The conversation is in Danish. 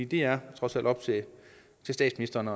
det er trods alt op til statsministeren